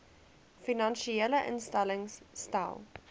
finansiële instellings stel